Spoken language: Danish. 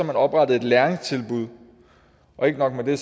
man oprettet et læringstilbud og ikke nok med det